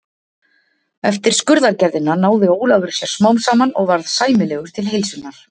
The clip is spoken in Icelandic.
Eftir skurðaðgerðina náði Ólafur sér smám saman og varð sæmilegur til heilsunnar.